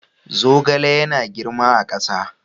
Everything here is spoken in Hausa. Zogale yana girma a ƙasa.